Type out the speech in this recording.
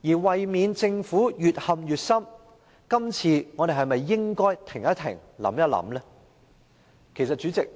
為免政府越陷越深，我們今次是否應停一停，想一想呢？